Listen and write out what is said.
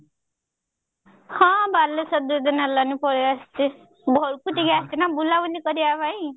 ହଁ ବାଲେଶ୍ଵର ଦିଦିନ ହେଲାନି ପଳେଈ ଆସିଛି ଘରକୁ ଟିକେ ଆସିଛି ନା ବୁଲାବୁଲି କରିବା ପାଇଁ